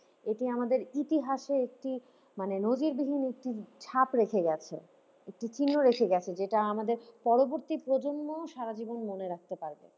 এটি আমাদের ইতিহাসে একটি মানে নজিরবিহীন একটি ছাপ রেখে গেছে। একটি চিহ্ন রেখে গেছে যেটা আমাদের পরবর্তী প্রজন্মও সারা জীবন মনে রাখতে পারবে।